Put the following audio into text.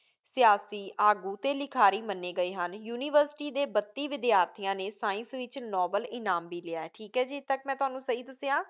ਸਿਆਸੀ ਆਗੂ ਅਤੇ ਲਿਖਾਰੀ ਮੰਨੇ ਗਏ ਹਨ। ਯੂਨੀਵਰਸਿਟੀ ਦੇ ਬੱਤੀ ਵਿਦਿਆਰਥੀਆਂ ਨੇ science ਵਿੱਚ ਨੋਬਲ ਇਨਾਮ ਵੀ ਲਿਆ। ਠੀਕ ਹੈ ਜੀ, ਇੱਥੇ ਤੱਕ ਮੈਂ ਤੁਹਾਨੂੰ ਸਹੀ ਦੱਸਿਆ।